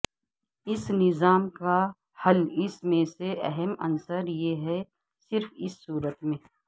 اس نظام کا حل اس میں سے اہم عنصر یہ ہے صرف اس صورت میں